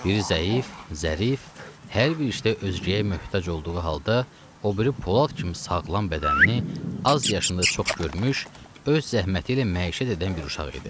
Biri zəif, zərif, hər bir işdə özgəyə möhtac olduğu halda, o biri polad kimi sağlam bədənini, az yaşında çox görmüş, öz zəhməti ilə məişət edən bir uşaq idi.